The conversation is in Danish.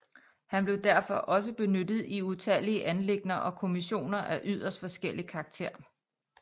Han blev derfor også benyttet i utallige anliggender og kommissioner af yderst forskellig karakter